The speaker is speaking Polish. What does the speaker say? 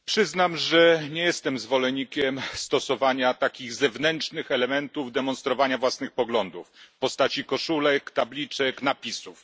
Przyznam, że nie jestem zwolennikiem zewnętrznych elementów demonstrowania własnych poglądów w postaci koszulek, tabliczek, napisów.